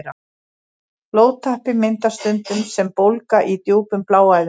Blóðtappi myndast stundum sem bólga í djúpum bláæðum.